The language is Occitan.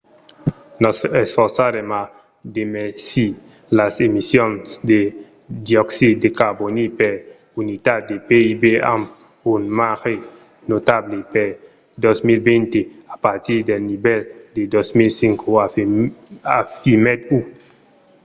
"nos esforçarem a demesir las emissions de dioxid de carbòni per unitat de pib amb un marge notable per 2020 a partir del nivèl de 2005, afirmèt hu